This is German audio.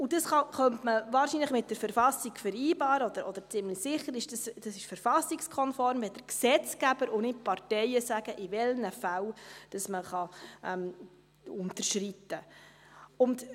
Das könnte man wahrscheinlich mit der Verfassung vereinbaren, oder ziemlich sicher ist das verfassungskonform, wenn der Gesetzgeber und nicht die Parteien sagen, in welchen Fällen man unterschreiten kann.